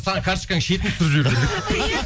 саған карточканың шетін түсіріп жіберу керек еді